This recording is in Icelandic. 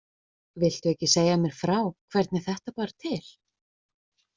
Viltu ekki segja mér frá hvernig þetta bar til?